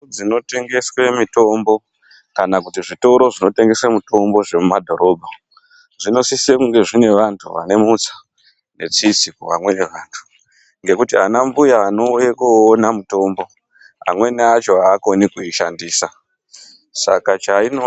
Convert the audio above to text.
Mhatso dzinotengeswe mitombo kana kuti zvitoro zvinotengese mutombo zvemumadhorobha zvinosise kunge zvine vantu vane mutsa netsitsi kuvamweni vantu ngekuti anambuya anouya koona mitombo amweni acho aakoni kuishandisa saka chainoda.....